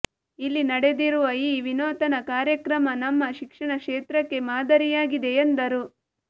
ಇಲ್ಲಿ ನಡೆದಿರುವ ಈ ವಿನೂತನ ಕಾರ್ಯಕ್ರಮ ನಮ್ಮ ಶಿಕ್ಷಣ ಕ್ಷೇತ್ರಕ್ಕೆ ಮಾದರಿಯಾಗಿದೆ ಎಂದರು